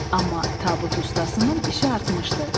Amma tabut ustasının işi artmışdı.